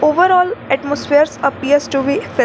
Overall atmosphere appears to be fes --